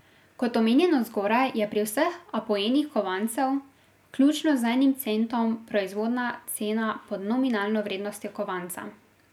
Kot omenjeno zgoraj, je pri vseh apoenih kovancev, vključno z enim centom, proizvodna cena pod nominalno vrednostjo kovanca.